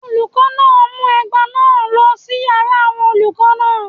Olùkọ́ náà mú ẹgba náà lọ sí yàrá àwọn olùkọ́ náà